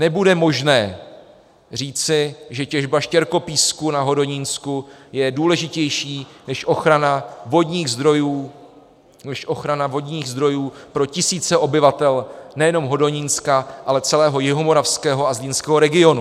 Nebude možné říci, že těžba štěrkopísku na Hodonínsku je důležitější než ochrana vodních zdrojů pro tisíce obyvatel nejenom Hodonínska, ale celého jihomoravského a zlínského regionu.